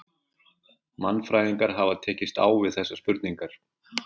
Mannfræðingar hafa tekist á við þessar spurningar.